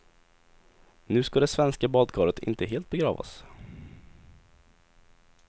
Nu ska det svenska badkaret inte helt begravas.